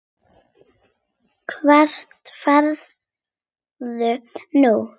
Hvert ferðu nú?